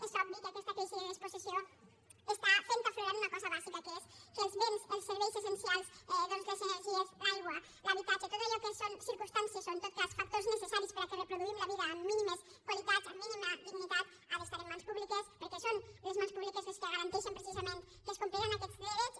és obvi que aquesta crisi de despossessió està fent aflorar una cosa bàsica que és que els béns els serveis essencials doncs les energies l’aigua l’habitatge tot allò que són circumstàncies o en tot cas factors necessaris perquè reproduïm la vida amb mínimes qualitats amb mínima dignitat ha d’estar en mans públiques perquè són les mans públiques les que garanteixen precisament que es compliran aquests drets